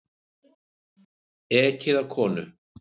Ekið á konu